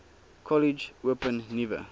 kollege open nuwe